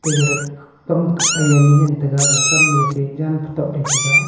egareh kam ai anyi ngan taiga kam me te jan kitapley ngan taiga.